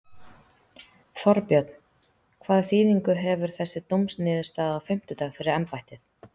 Þorbjörn: Hvaða þýðingu hefur þessi dómsniðurstaða á fimmtudag fyrir embættið?